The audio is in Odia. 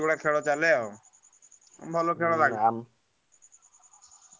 ସେଇଭଳିଆ ଖେଲ ଚାଲେ ଆଉ ଭଲ।